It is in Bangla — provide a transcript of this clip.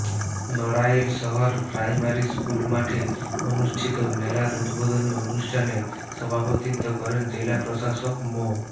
নড়াইল শহর প্রাইমারি স্কুল মাঠে অনুষ্ঠিত মেলার উদ্বোধনী অনুষ্ঠানে সভাপতিত্ব করেন জেলা প্রশাসক মো